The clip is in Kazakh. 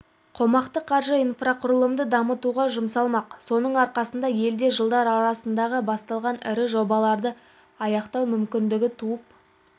қомақты қаржы инфрақұрылымды дамытуға жұмсалмақ соның арқасында елде жылдар аралығында басталған ірі жобаларды аяқтау мүмкіндігі туып